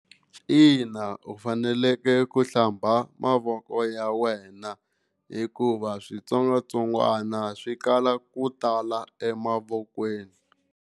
Ina u fanekele ku hlamba mavoko ya wena hikuva switsongwatsongwana swi kala ku tala emavokweni.